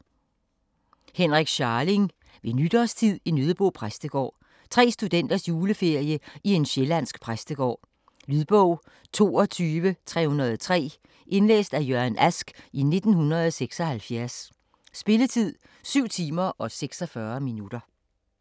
Scharling, Henrik: Ved nytårstid i Nøddebo præstegård Tre studenters juleferie i en sjællandsk præstegård. Lydbog 22303 Indlæst af Jørgen Ask, 1976. Spilletid: 7 timer, 46 minutter.